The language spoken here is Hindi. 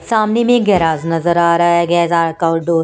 सामने में गैराज नजर आ रहा है --